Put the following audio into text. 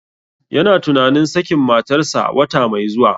Yana tunanin sakin matarsa wata mai zuwa.